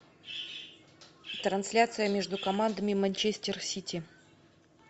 трансляция между командами манчестер сити